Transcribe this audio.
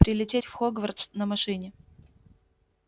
прилететь в хогвартс на машине